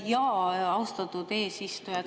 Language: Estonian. Jaa, austatud eesistuja!